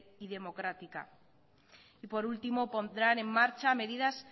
y democrática y por último pondrán en marcha medidas